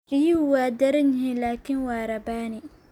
Riyuhu waa daran yihiin laakiin waa rabbaani.